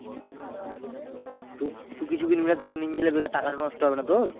তু তুই কিছু কিনবি না তোকে নিয়ে গেলে বেকার টাকাটা নষ্ট হবে না তোর?